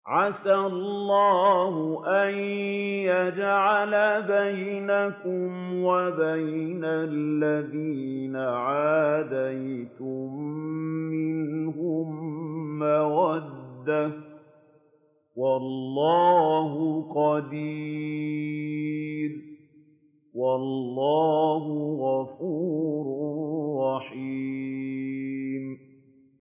۞ عَسَى اللَّهُ أَن يَجْعَلَ بَيْنَكُمْ وَبَيْنَ الَّذِينَ عَادَيْتُم مِّنْهُم مَّوَدَّةً ۚ وَاللَّهُ قَدِيرٌ ۚ وَاللَّهُ غَفُورٌ رَّحِيمٌ